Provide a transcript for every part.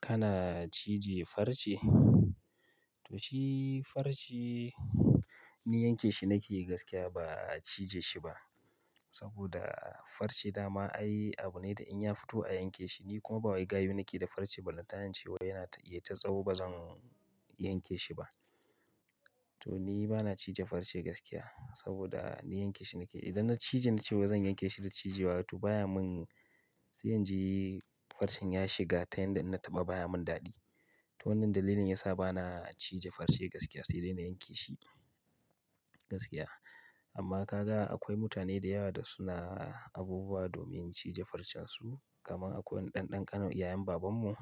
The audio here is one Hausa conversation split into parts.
Kana cije farce? To shi farce ni yanke shi nake gaskiya ba a cije shi ba. Saboda farce dama ai abu ne da in ya fito a yanke shi. Ni kuma ba wai ga yin nake da farce ba. Lantayin cewa yana iya ta tsau ba zan yanke shi ba. To ni bana cije farce gaskiya saboda ni yanke shi nake. Idan na cije na ce wa zan yanke shi da cije. To baya mun, sai yanzu farcen ya shiga ta yanda na taɓa baya mun daɗi. To wannan dalilin yasa bana cije farce gaskiya sai dai na yanke shi gaskiya. Amma ka ga akwai mutane da yawa da suna abubuwa domin cije farcen su. Kaman akwai ɗanɗan ƙanan iyayen babanmu,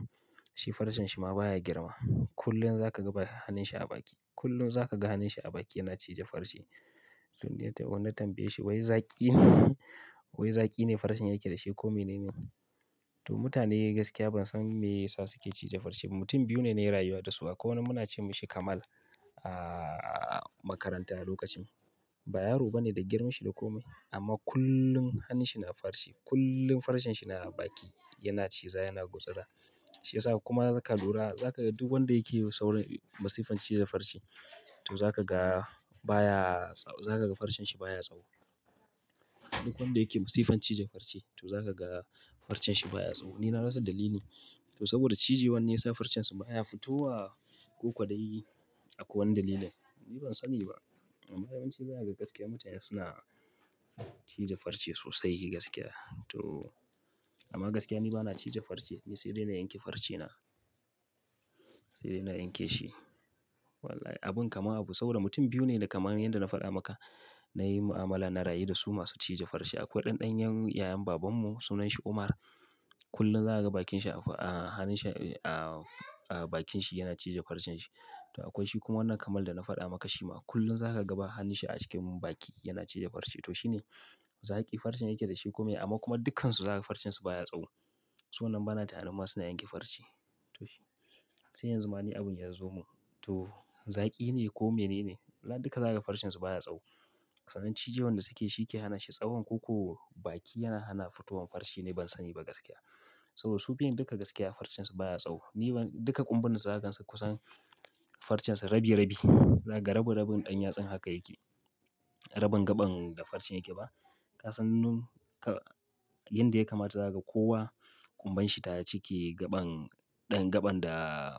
shi farcen shi ma baya girma. Kullum za ka ga bakin hannun shi a baki. Kullum za ka ga hannun shi a baki yana cije farce. To ni tana tambaye shi wai zaki ne, wai zaki ne farcen yake da shi ko mene ne? To mutane gaskiya ban san me yasa suke cije farce ba. Mutum biyu ne na yi rayuwa da su akwai wanda muna ce masa Kamal a makaranta a lokacin. Ba yaro bane da girman shi da kome amma kullum hannun shi na farce. Kullum farcen shi na baki yana ciza yana gutsura. Shi yasa kuma za ka lura, za ka ga duk wanda yake da saurin masifan cije farce, to za ka ga baya, za ka ga farcen shi baya tsaho. Duk wanda yake masifan cije farce to za ka ga farcen shi baya tsaho. Ni na rasa dalili. To saboda cije wani ya sa farcen su baya fito wa ko kwadayi. Akwai wani dalili? Ni ban sani ba. Amma yawanci baya ga gaskiya mutane suna cije farce sosai gaskiya. To amma gaskiya ni bana cije farce. Ni sai dai na yanke farcen na. Sai dai na yanke shi. Wallahi abun kama abu. Saboda mutum biyu ne da kamar yanda na faɗa maka. Na yi mu'amala, na rayu da su masu cije farce. Akwai ɗanɗan yan yayan baban mu sunan shi Umar. Kullum za ka ga bakin shi a hannun shi a bakin shi yana cije farcen shi. To akwai shi kuma wannan Kamal da na faɗa maka shi ma kullum za ka ga bakin hannun shi a cikin baki yana cije farce. To shi ne zaki farcen yake da shi kome amma kuma dukkansu za ka ga farcen su baya tsaho. To wannan bana tunanin masu na yanke farce. To shi. Sai yanzu ma abun ya zo mun. To zaki ne ko mene ne? Duka za ka ga farcen su baya tsaho. Sa'an cije wanda suke shi ke hana shi tsahon ko baki yana hana fitowan farce ne ban sani ba gaskiya. Saboda su biyun duka gaskiya farcen su baya tsaho. Ni duka ƙumban za ka gan su kusan farcen su rabi rabi. Za ka ga rabi rabi ɗan yatsan haka yake. Rabon gaɓan da farce yake ba. Ka san nan ka yanda ya kamata za ka ga kowa ƙumban shi ta cike gaɓan ɗan gaɓan da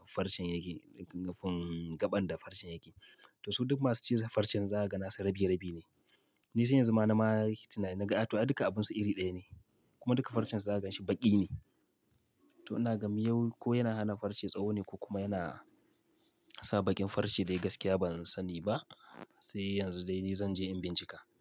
farcen yake. Ɗan gaɓan da farcen yake. To su duka masu cije farce za ka ga nasu rabi rabi ne. Ni sai yanzu ma na yi tunani, na ga a to duka abunsu iri ɗaya ne. Kuma duka farcen za ka gan shi baki ne. To ina gan miyau ko yana hana farce tsaho ne ko kuma yana sa baƙin farce yayi gaskiya ba zan sani ba. Sai yanzu dai ni zan je in bincika.